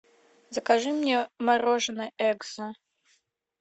закажи мне мороженое экзо